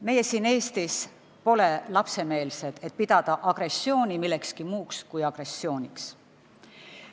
Meie siin Eestis pole lapsemeelsed, et pidada agressiooni millekski muuks kui agressiooniks.